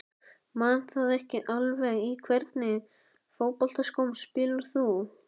Man það ekki alveg Í hvernig fótboltaskóm spilar þú?